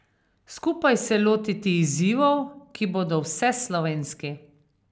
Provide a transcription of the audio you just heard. Skupaj se lotiti izzivov, ki bodo vseslovenski.